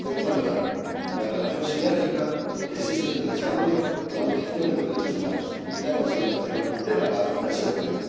Finalizo enfatizando la relación sinérgica que existe entre el desarrollo, la protección de los derechos humanos y la consolidación de la paz y la seguridad.